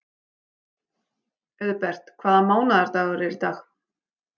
Auðbert, hvaða mánaðardagur er í dag?